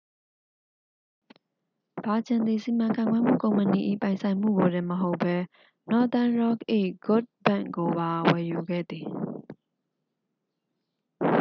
ဗာဂျင်သည် စီမံခန့်ခွဲမှု ကုမ္ပဏီ၏ ပိုင်ဆိုင်မှုကိုတင်မဟုတ်ဘဲ nothern rock ၏ good bank' ကိုပါ ဝယ်ယူခဲ့သည်